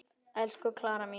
Elsku Klara mín.